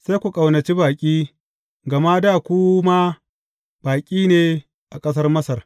Sai ku ƙaunaci baƙi, gama dā ku ma baƙi ne a ƙasar Masar.